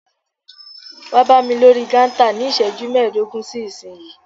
Wá bámi lórí kántà ní iṣẹ́jú mẹdogun sí ìsínyìí!